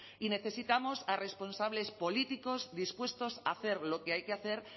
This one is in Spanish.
y necesitamos a responsables políticos dispuestos a hacer lo que hay que hacer